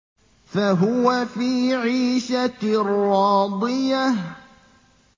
فَهُوَ فِي عِيشَةٍ رَّاضِيَةٍ